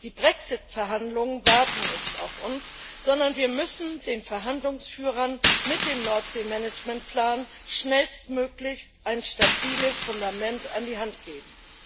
Die Brexit Verhandlungen warten nicht auf uns, sondern wir müssen den Verhandlungsführern mit dem Nordseemanagementplan schnellstmöglich ein stabiles Fundament an die Hand geben.